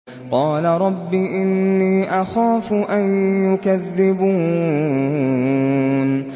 قَالَ رَبِّ إِنِّي أَخَافُ أَن يُكَذِّبُونِ